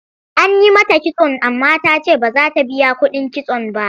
An yi mata kitso amma ta ce ba za ta biya kuɗin kitson ba.